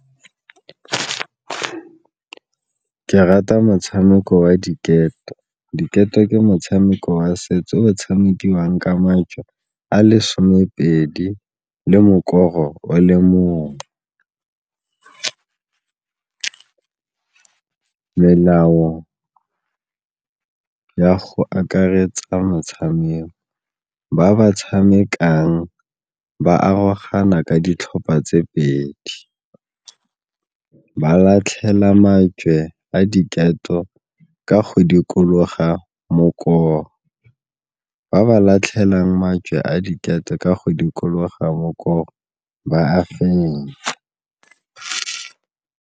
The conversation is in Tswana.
Ke rata motshameko wa diketo, diketo ke motshameko wa setso o tshamekiwang ka majwe a le somepedi le mokoro o le mongwe. Melao ya go akaretsa motshameko, ba ba tshamekang ba arogana ka ditlhopha tse pedi, ba latlhela majwe a diketo ka go dikologa mokoro, ba ba latlhelang mantswe a diketo ka go dikologa mokoro ba fenya.